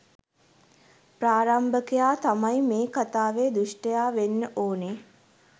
ප්‍රාරම්භකයා තමයි මේ කතාවේ දුෂ්ඨයා වෙන්න ඕනේ